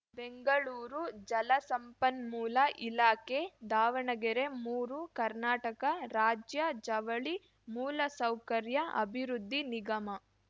ಬೆಂಗಳೂರು ಜಲಸಂಪನ್ಮೂಲ ಇಲಾಖೆ ದಾವಣಗೆರೆ ಮೂರು ಕರ್ನಾಟಕ ರಾಜ್ಯ ಜವಳಿ ಮೂಲಸೌಕರ್ಯ ಅಭಿವೃದ್ಧಿ ನಿಗಮ